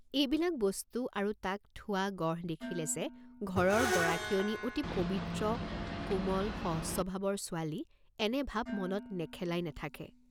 এইবিলাক বস্তু আৰু তাক থোৱা গঢ় দেখিলে যে ঘৰৰ গৰাকীয়নী অতি পবিত্ৰ, কোমল সজ স্বভাৱৰ ছোৱালী এনে ভাব মনত নেখেলাই নেথাকে।